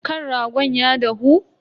Kan ragon ya dahu?